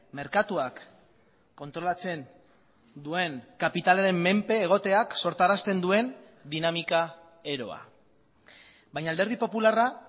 merkatuak kontrolatzen duen kapitalaren menpe egoteak sortarazten duen dinamika eroa baina alderdi popularra